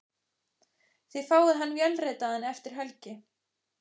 Þið fáið hann vélritaðan eftir helgi.